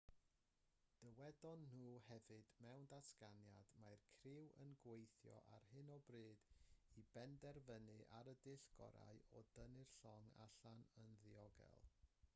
dywedon nhw hefyd mewn datganiad mae'r criw yn gweithio ar hyn o bryd i benderfynu ar y dull gorau o dynnu'r llong allan yn ddiogel